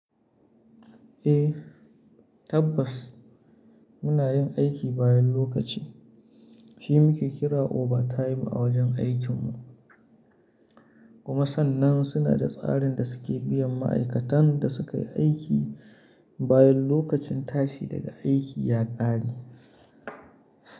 Eh, tabbas muna yin aiki bayan lokaci, shi muke kira overtime a wajen aikin mu. Kuma sannan suna da tsarin da suke biyan ma'aikatan da suka yi aiki bayan lokacin tashi daga aiki ya ƙare.